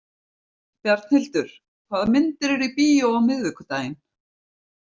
Bjarnhildur, hvaða myndir eru í bíó á miðvikudaginn?